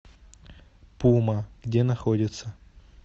пума где находится